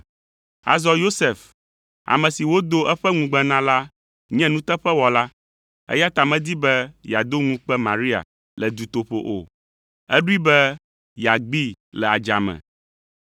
Azɔ Yosef, ame si wodo eƒe ŋugbe na la nye nuteƒewɔla, eya ta medi be yeado ŋukpe Maria le dutoƒo o; eɖoe be yeagbee le adzame.